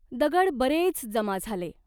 दगड बरेच जमा झाले.